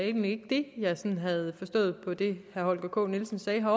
egentlig ikke det jeg sådan havde forstået på det herre holger k nielsen sagde